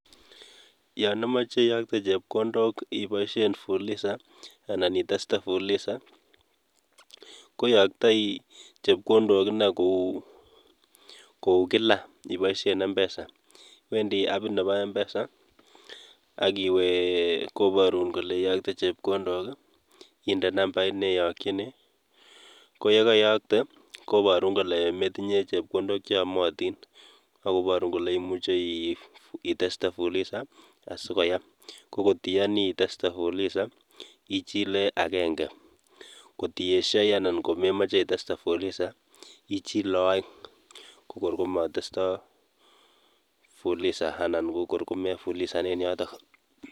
Yon imoche iyoktee chepkondok ibooshien fuliza, anan itestee fuliza koiyoktoi chepkondok ine koukilaa. Iboishien mpesa, iwendi apit noton nebo mpesa akiwe koborun kole iyokte chepkondook i,inde nambait neyokchini koyekeiyoktee koboorun kole metinye chepkondok cheomotin ak koboorun kole imuche iteste fuliza asikoyaam. Ko ingot iyoni itestee fuliza ichile agenge, ak ingot iyesyoi anan komemoche itestee fuliza ichile oeng. Ko kor komotestoi fuliza anan ko kor komefulizan en yoton.